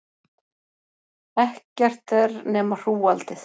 Ekkert er nema hrúgaldið.